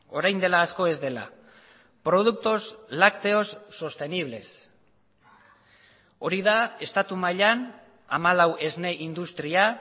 orain dela asko ez dela productos lácteos sostenibles hori da estatu mailan hamalau esne industria